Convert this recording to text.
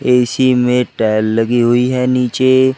AC में tile लगी हुई है नीचे।